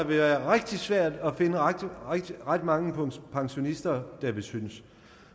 være rigtig svært at finde ret ret mange pensionister der vil synes